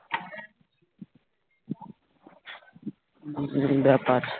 উম ব্যাপার